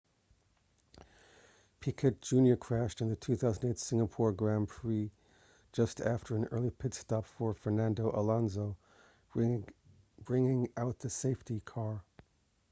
piquet jr crashed in the 2008 singapore grand prix just after an early pit stop for fernando alonso bringing out the safety car